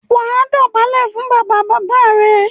wà á dọ̀bálẹ̀ fún “ bàbabàbá” rẹ.